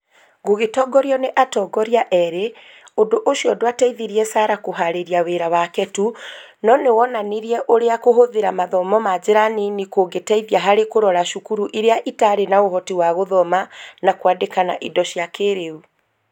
Gũgĩtongorio nĩ atongoria erĩ, ũndũ ũcio ndwateithirie Sarah kũhaarĩria wĩra wake tu, no nĩ wonanirie ũrĩa kũhũthĩra mathomo na njĩra nini kungĩteithia harĩ kũrora cukuru iria itarĩ na ũhoti wa gũthoma na kwandĩka na indo cia kĩĩrĩu